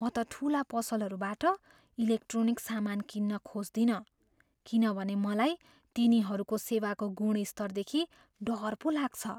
म त ठुला पसलहरूबाट इलेक्ट्रोनिक्स सामान किन्न खोज्दिनँ किनभने मलाई तिनीहरूको सेवाको गुणस्तरदेखि डर पो लाग्छ।